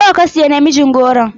Nawa ka siya namijin goron?